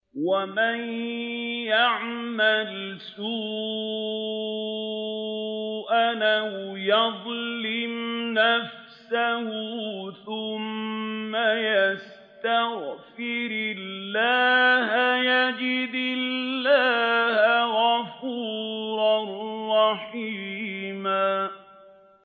وَمَن يَعْمَلْ سُوءًا أَوْ يَظْلِمْ نَفْسَهُ ثُمَّ يَسْتَغْفِرِ اللَّهَ يَجِدِ اللَّهَ غَفُورًا رَّحِيمًا